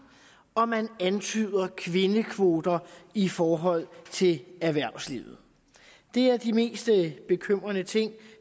og at man antyder kvindekvoter i forhold til erhvervslivet det er de mest bekymrende ting